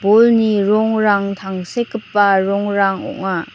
bolni rongrang tangsekgipa rongrang ong·a.